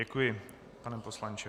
Děkuji, pane poslanče.